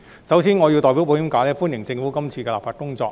首先，我要代表保險界歡迎政府今次的立法工作。